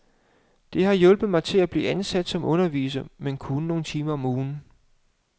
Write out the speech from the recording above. Det har hjulpet mig til at blive ansat som underviser, men kun nogle timer om ugen.